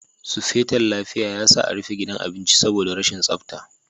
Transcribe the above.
Sufeton lafiya ya sa a rufe gidan abincin saboda rashin tsafta.